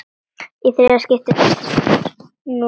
Í þriðja skiptið birtist núll.